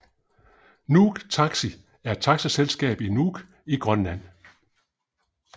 Nuuk Taxi er et taxaselskab i Nuuk i Grønland